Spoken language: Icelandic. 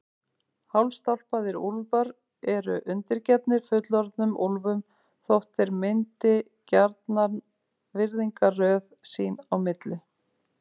Hálfstálpaðir úlfar eru undirgefnir fullorðnum úlfum þótt þeir myndi gjarnan virðingarröð sín á milli.